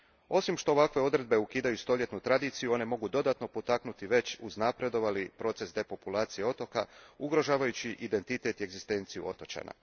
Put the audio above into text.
Osim što ovakve odredbe ukidaju stoljetnu tradiciju, one mogu dodatno potaknuti već uznapredovali proces depopulacije otoka, ugrožavajući identitet i egzistenciju otočana.